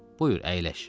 Buyur əyləş.